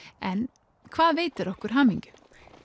en hvað veitir okkur hamingju